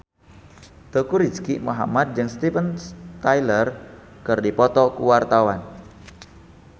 Teuku Rizky Muhammad jeung Steven Tyler keur dipoto ku wartawan